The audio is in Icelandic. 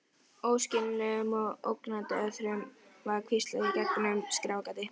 Óskiljanlegum og ógnandi orðum var hvíslað í gegnum skráargati.